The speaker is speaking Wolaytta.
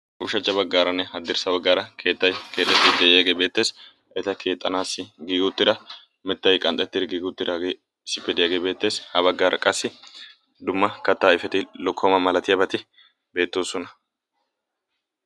uushachcha baggaaranne haddirssa baggaara keettay keetettii de'iyaagee beetteessi eta keexxanaassi giigi uxxira mettay qanxetti giig uxxiiraa isippe diyaagee beettees ha baggaara qassi dumma kattaa ayfeti lokkooma malatiyaabati beettoosona